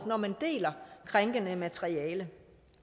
når man deler krænkende materiale